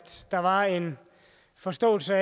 der var en forståelse